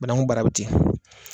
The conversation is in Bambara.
Banakun baara bɛ ten.